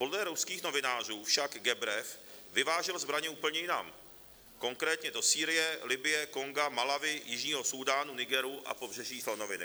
Podle ruských novinářů však Gebrev vyvážel zbraně úplně jinam, konkrétně do Sýrie, Libye, Konga, Malawi, Jižního Súdánu, Nigeru a Pobřeží slonoviny.